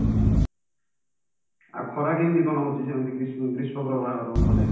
ଆଉ ଖରା କେମିତି କଣ ହଉଛି ସେମିତି ଗ୍ରୀଷ୍ମ ପ୍ରଭାବ ତମ ପଟେ